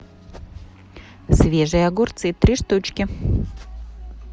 свежие огурцы три штучки